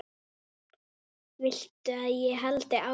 Viltu að ég haldi áfram?